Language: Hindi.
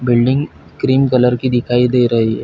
बिल्डिंग क्रीम कलर की दिखाई दे रही है।